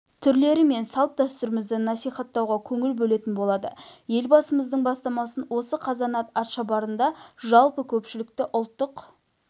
түрлері мен салт-дәстүрлерімізді насихаттауға көңіл бөлетін болады елбасымыздың бастамасымен осы қазанат атшабарында жалпы көпшілікті ұлттық